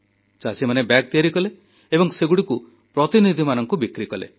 ଚାଷୀମାନେ ବ୍ୟାଗ୍ ତିଆରି କଲେ ଏବଂ ସେଗୁଡ଼ିକୁ ପ୍ରତିନିଧିମାନଙ୍କୁ ବିକ୍ରି କଲେ